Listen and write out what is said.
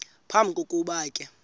phambi kokuba ke